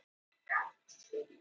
Mannsævin hefst í myrkri.